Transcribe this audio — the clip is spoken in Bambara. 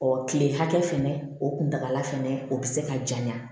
Ɔ kile hakɛ fɛnɛ o kuntaala fɛnɛ o bɛ se ka janya